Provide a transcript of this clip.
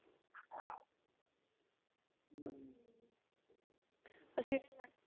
ਅਸੀਂ ਵੀ ਜਾਣੇ